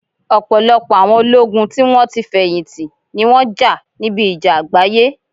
Ọ̀pọ̀lọpọ̀ àwọn ológun tí wón ti feyinti, ni wọn jà níbi ìjà àgbáyé